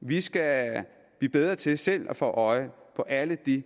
vi skal blive bedre til selv at få øje på alle de